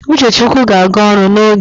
Uchechukwu ga-aga ọrụ n'oge